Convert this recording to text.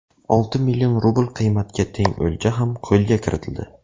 Olti million rubl qiymatga teng o‘lja ham qo‘lga kiritildi.